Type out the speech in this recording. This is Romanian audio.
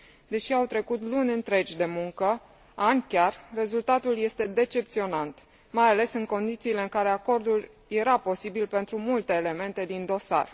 Deși au trecut luni întregi de muncă, ani chiar, rezultatul este decepționant, mai ales în condițiile în care acordul era posibil pentru multe elemente din dosar.